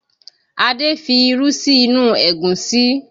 Adé fi irú sí inú Ẹ̀gúsí